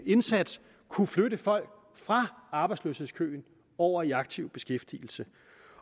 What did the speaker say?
indsats kunne flytte folk fra arbejdsløshedskøen over i aktiv beskæftigelse